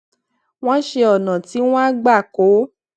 wón ṣe ònà tí wón á gbà kó